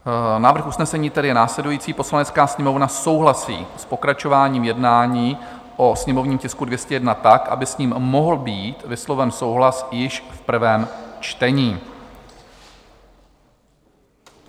Návrh usnesení je tedy následující: "Poslanecká sněmovna souhlasí s pokračováním jednání o sněmovním tisku 201 tak, aby s ním mohl být vysloven souhlas již v prvém čtení."